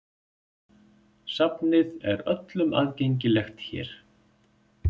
Safnið er öllum aðgengilegt hér.